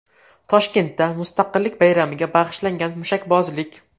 Toshkentda Mustaqillik bayramiga bag‘ishlangan mushakbozlik.